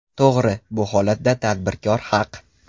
To‘g‘ri, bu holatda tadbirkor haq.